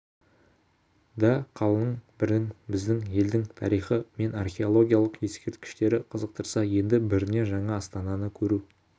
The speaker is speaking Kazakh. да қалың бірін біздің елдің тарихы мен археологиялық ескерткіштері қызықтырса енді біріне жаңа астананы көру